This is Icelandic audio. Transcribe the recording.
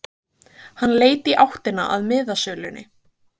Hann leit í áttina að miðasölunni.